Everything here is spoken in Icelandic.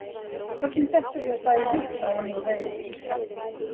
Hvernig dettur þér það í hug? sagði hann og reif af sér skeggið.